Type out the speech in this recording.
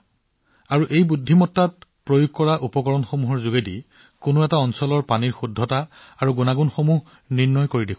কৃত্ৰিম বুদ্ধিমত্তা আৰু ইণ্টাৰনেট অব্ থিংছৰ সহায়ত ই তেওঁলোকৰ এলেকাত পানীৰ বিশুদ্ধতা আৰু মানদণ্ডৰ বিষয়ে তথ্য প্ৰদান কৰিব